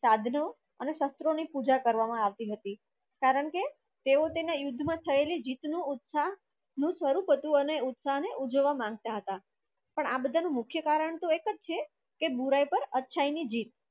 સાદનું અને સસ્તરો ની પુજા કરવામાં આવતી હતી કારણકે તેઓ તેના યુદ્ધ મા થયાળી જીત નું ઉત્સા નું સ્વરૂપ હતું ને ઉત્સાહ ને ઉજવવા માંગતા હતા પણ આ બધા નું મુખ્ય કારણ તો એકજ છે કે બુરાઈ પર અચ્છાઈ ની જીત.